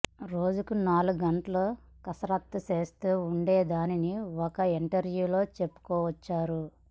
రోజుకు నాలుగు గంటలు కసరత్తులు చేస్తూ ఉండేదాన్నని ఓ ఇంటర్య్వూలో చెప్పుకొచ్చారు